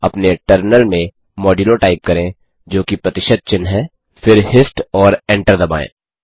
अपने टर्मिनल में modulo type करें जोकि प्रतिशत चिह्न है फिर हिस्ट और एंटर दबाएँ